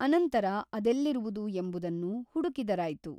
ಅನಂತರ ಅದೆಲ್ಲಿರುವುದು ಎಂಬುದನ್ನು ಹುಡುಕಿದರಾಯ್ತು !